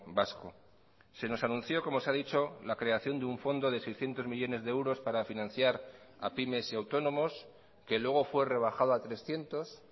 vasco se nos anunció como se ha dicho la creación de un fondo de seiscientos millónes de euros para financiar a pymes y autónomos que luego fue rebajado a trescientos